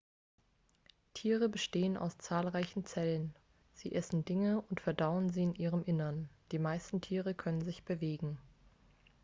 tiere bestehen aus zahlreichen zellen sie essen dinge und verdauen sie in ihrem innern die meisten tiere können sich bewegen